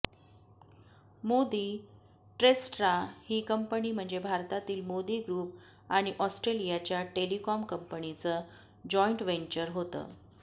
Modi Telstra ही company म्हणजे भारतातील मोदी ग्रुप आणि ऑस्ट्रेलियाच्या टेलिकॉम कंपनीचं जॉईंट वेंचर होतं